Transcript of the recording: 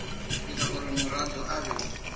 ita uri muraḓo a vhe